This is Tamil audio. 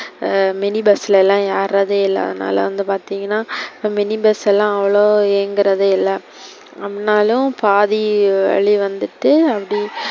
அஹ் mini bus லலாம் ஏர்றதே இல்ல, அதுனால வந்து பார்திங்கனா இப்போ mini bus எல்லாம் அவ்ளோ இயங்குறதே இல்ல, அப்புடினாலும் பாதி வலி வந்துட்டு அப்பிடி,